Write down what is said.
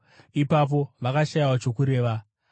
Ipapo vakashayiwa chokureva.